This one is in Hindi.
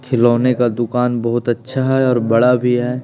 खिलौने का दुकान बहुत अच्छा हैं और बड़ा भी हैं ।